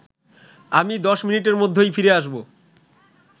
আমি ১০ মিনিটের মধ্যেই ফিরে আসব